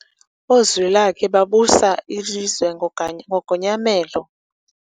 Oozwilakhe babusa ilizwe ngogonyamelo.